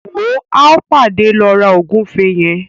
Wò ó, a padà lọ ra ògúnfe yẹn.